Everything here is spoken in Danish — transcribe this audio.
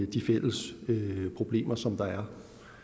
de fælles problemer som der er